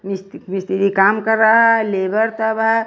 मिस्त्री काम कर रहा है लेबर है।